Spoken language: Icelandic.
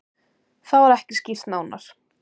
Það var ekki skýrt nánar.